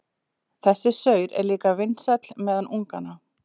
Þessi saur er líka vinsæll meðal unganna.